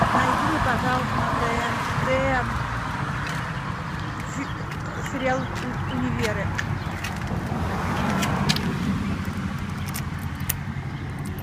найди мне пожалуйста на тнт сериал универы